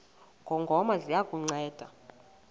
ngongoma ziya kukunceda